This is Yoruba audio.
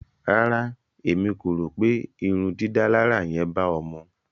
Rárá, Émi ko ro pe ìrundidàlarà yén ba ọ̀ mu.